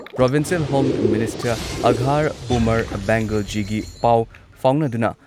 provincial home minister Akhtar Umar ꯕꯦꯡꯒꯜꯖꯤꯒꯤ ꯄꯥꯎ ꯐꯥꯎꯅꯗꯨꯅ